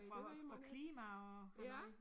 For for klima og halløj